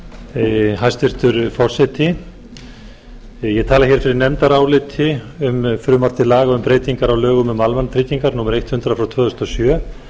fyrir nefndaráliti um frumvarp til laga um breytingar á lögum um almannatryggingar númer hundrað tvö þúsund og sjö